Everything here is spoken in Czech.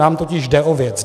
Nám totiž jde o věc.